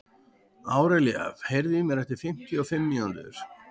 Árelía, heyrðu í mér eftir fimmtíu og fimm mínútur.